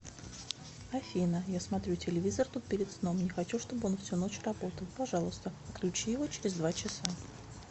афина я смотрю телевизор тут перед сном не хочу чтобы он всю ночь работал пожалуйста отключи его через два часа